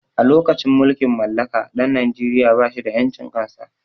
A lokacin mulkin mallaka ɗan najeria ba shi da ƴancin kan sa